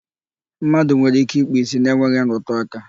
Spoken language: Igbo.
Mmadụ nwere ike ikpu ìsì na-enweghị nrụtụaka.